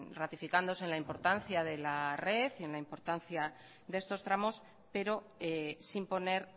ratificándose en la importancia de la red y en la importancia de estos tramos pero sin poner